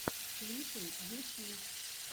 клипы ютьюб